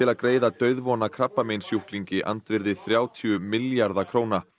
að greiða dauðvona krabbameinssjúklingi andvirði þrjátíu milljarða króna